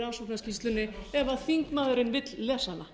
rannsóknarskýrslunni ef þingmaðurinn vill lesa hana